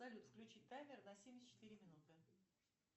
салют включи таймер на семьдесят четыре минуты